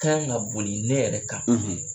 Ka kan ka boli ne yɛrɛ kan